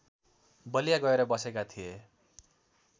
बलिया गएर बसेका थिए